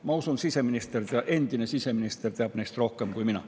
Ma usun, et endine siseminister teab neist rohkem kui mina.